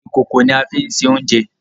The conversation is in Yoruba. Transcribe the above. Ìkòkò ni a fí ń se oúnjẹ.